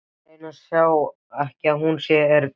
Ég reyni að sjá ekki að hún er döpur.